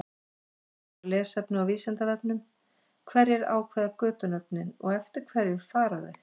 Frekara lesefni á Vísindavefnum: Hverjir ákveða götunöfnin og eftir hverju fara þau?